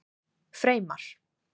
Freymar